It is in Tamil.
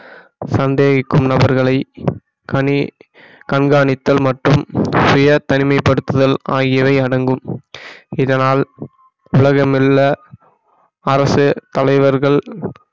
சந்தேகிக்கும் நபர்களை கனி~ கண்காணித்தல் மற்றும் சுய தனிமைப்படுத்துதல் ஆகியவை அடங்கும் இதனால் உலகமெல்ல அரசு தலைவர்கள்